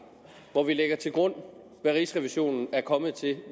hvor vi lægger til grund hvad rigsrevisionen er kommet til